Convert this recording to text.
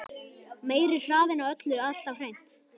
Meiri hraðinn á öllu alltaf hreint.